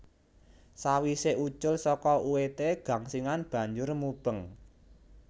Sawisé ucul saka uwedé gangsingan banjur mubeng